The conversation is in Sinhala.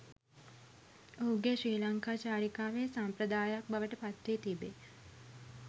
ඔහුගේ ශ්‍රී ලංකා චාරිකාවේ සම්ප්‍රදායයක් බවට පත් වී තිබේ